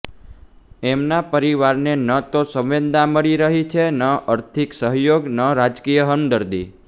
એમના પરિવારને ન તો સંવેદના મળી રહી છે ન આર્થિક સહયોગ કે ન રાજકીય હમદર્દી